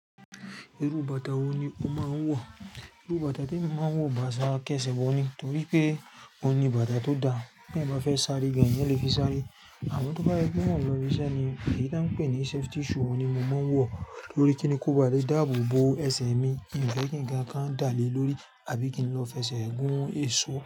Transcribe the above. Irú bàtà wo ni o ma ń wọ̀? Irú bàtà tí emi má ń wọ̀ bàtà akẹ́sẹ̀bo ni torí pé óun ni bàtà tó da. Ti eeyan bá fẹ́ sáré gan-an, eeyan lè fi sáré. Àmọ́ tó bá se pe mó n lọ ibi iṣẹ́ ni èyí tí won ń pè ní safety shoe, oun ni mo má ń wọ̀ torí kí ni, kó báa lè dáàbò bo ẹsẹ̀ mi. N fẹ́ kí ńkan kan dá lè lórí, àbí kí n lọ f'ẹsẹ̀ gún èso.